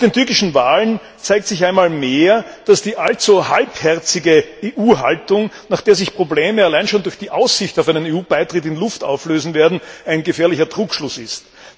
Nach den türkischen Wahlen zeigt sich einmal mehr, dass die allzu halbherzige Haltung der EU, nach der sich Probleme allein schon durch die Aussicht auf einen EU Beitritt in Luft auflösen werden, ein gefährlicher Trugschluss ist.